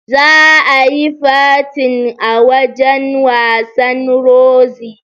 Zaa yi fatin a wajan wasan Roxy